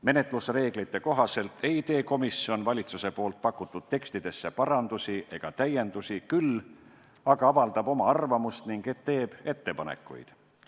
Menetlusreeglite kohaselt ei tee komisjon valitsuse pakutud tekstidesse parandusi ega täiendusi, küll aga avaldab oma arvamust ning teeb ettepanekuid.